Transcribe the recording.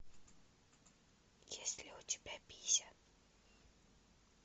есть ли у тебя пися